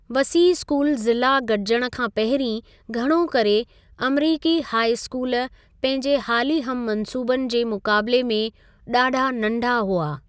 वसीअ स्कूल ज़िला गडि॒जणु खां पहिरीं घणो करे अमरिकी हाई स्कूल पंहिंजे हाली हम मंसूबनि जे मुक़ाबले में डा॒ढा नंढा हुआ।